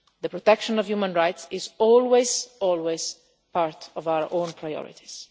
The protection of human rights is always part of our own priorities.